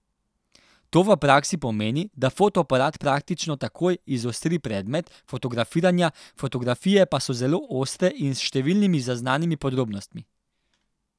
To v praksi pomeni, da fotoaparat praktično takoj izostri predmet fotografiranja, fotografije pa so zelo ostre in s številnimi zaznanimi podrobnostmi.